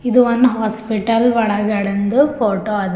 ಇದು one hospital ಒಳಗಡೆಂದು photo ಅದ.